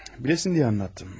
Biləsən deyə danışdım.